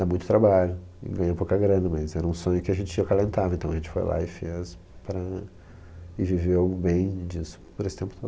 Dá muito trabalho e ganha pouca grana, mas era um sonho que a gente acalentava, então a gente foi lá e fez para... e viveu bem disso por esse tempo todo.